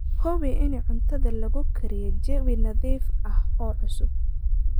Hubi in cuntada lagu kariyey jawi nadiif ah oo cusub.